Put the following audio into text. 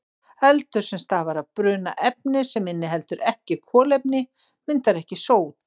Eldur sem stafar af bruna efnis sem inniheldur ekki kolefni myndar ekki sót.